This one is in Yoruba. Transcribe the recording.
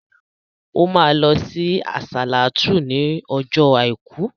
O ma lọ sí àsàlátú ní ọjọ́ àìkú